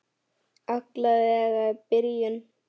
Alla vega í byrjun.